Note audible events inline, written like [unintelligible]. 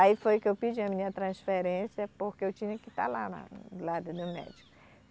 Aí foi que eu pedi a minha transferência porque eu tinha que estar lá, na lá [unintelligible] do médico.